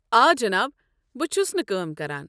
آ، جِناب۔ بہٕ چھُس نہٕ کٲم کران۔